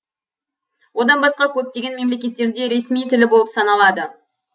одан басқа көптеген мемлекеттерде ресми тілі болып саналады